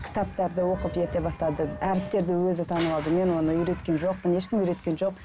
кітаптарды оқып ерте бастады әріптерді өзі танып алды мен оны үйреткен жоқпын ешкім үйреткен жоқ